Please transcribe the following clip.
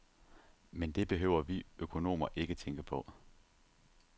Men det behøver vi økonomer ikke tænke på.